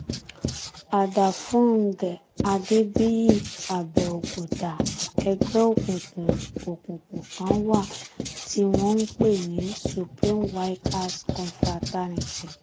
àdàfúngẹ̀ adébíyìàbẹ̀òkúta ẹgbẹ́ òkùnkùn òkùnkùn kan wà tí wọ́n ń pè ní supreme vikers confraternity